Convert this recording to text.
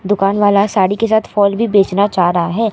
दुकान वाला साड़ी के साथ फॉल भी बेचना चाह रहा है।